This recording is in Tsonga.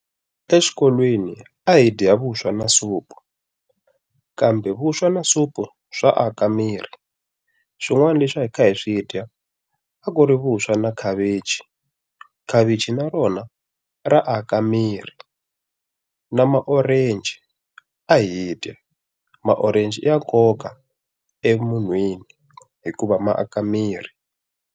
Exikolweni a hi dya vuswa na supu. Kambe vuswa na supu swa aka miri. Swin'wana leswi a hi kha hi swi dya, a ku ri vuswa na khavichi. Khavichi na rona ra aka miri. Na ma-orange. Ma-orange i ya nkoka emunhwini hikuva ma aka miri.